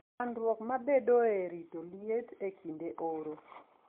Chandruok mabedoe e rito liet e kinde oro.